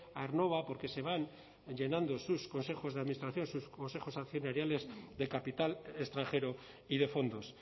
aernnova porque se van llenando sus consejos de administración sus consejos accionariales de capital extranjero y de fondos